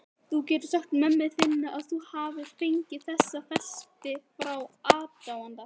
Þú getur sagt mömmu þinni að þú hafir fengið þessa festi frá aðdáanda.